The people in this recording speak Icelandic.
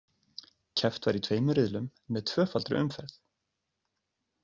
Keppt var í tveimur riðlum með tvöfaldri umferð.